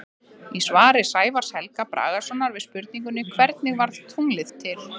Í svari Sævars Helga Bragasonar við spurningunni Hvernig varð tunglið til?